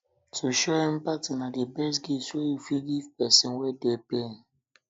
to show empathy na di best gift wey you fit give pesin wey dey pain